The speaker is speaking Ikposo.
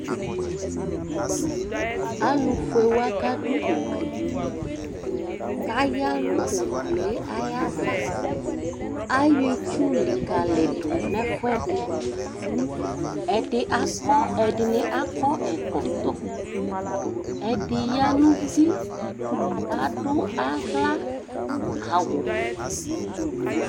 Alʋfuewa kadʋ ʋgli, kʋ ayanʋ ʋgbli yɛ ava, ayɔ itsʋ likalidʋ nʋ ɛfʋɛdi Ɛdini akɔ ɛkɔtɔ, ɛdi yanʋ uti kʋ adʋ aɣlaawʋ